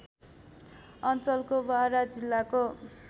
अञ्चलको बारा जिल्लाको